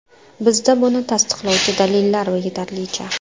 Bizda buni tasdiqlovchi dalillar yetarlicha.